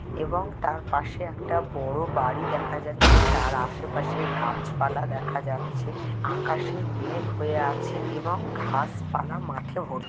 এবং তার পাশে একটা বড়ো বাড়ি দেখা যাচ্ছে। তার আশেপাশে গাছপালা দেখা যাচ্ছে। আকাশে মেঘ হয়ে আছে এবং ঘাসপালা মাঠে ভর্তি ।